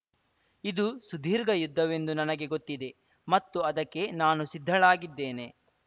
ಇದು ಸುದೀರ್ಘ ಯುದ್ಧವೆಂದು ನನಗೆ ಗೊತ್ತಿದೆ ಮತ್ತು ಅದಕ್ಕೆ ನಾನು ಸಿದ್ಧಳಾಗಿದ್ದೇನೆ